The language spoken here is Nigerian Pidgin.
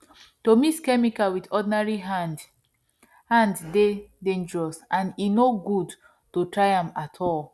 to mix chemical with ordinary hand hand dey dangerous and e no good to try am at all